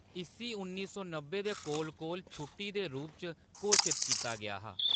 इस्सी उन्नी सौ नब्बै दे कोल-कोल छुट्टी दे रूप च घोशत कीता गेआ हा।